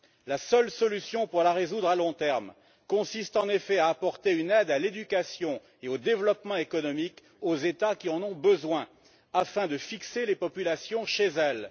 La seule solution pour la résoudre, à long terme, consiste en effet à apporter une aide à l'éducation et au développement économique aux États qui en ont besoin, afin de fixer les populations chez elles.